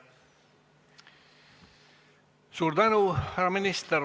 Suur tänu, härra minister!